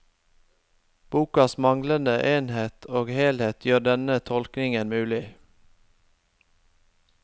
Bokas manglende enhet og helhet gjør denne tolkningen mulig.